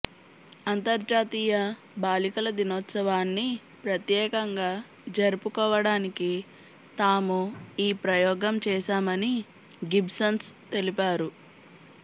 అంతర్జాతీయ బాలికల దినోత్సవాన్ని ప్రత్యేకంగా జరుపుకోవడానికి తాము ఈ ప్రయోగం చేశామని గిబ్బిన్స్ తెలిపారు